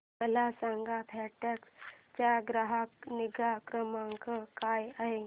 मला सांगा फेडेक्स चा ग्राहक निगा क्रमांक काय आहे